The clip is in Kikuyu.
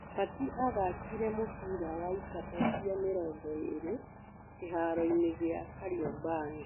Batĩ athakire mũbira wa ikabũ cia mĩrongo ĩrĩ kĩharoinĩ gĩa Kariombangi.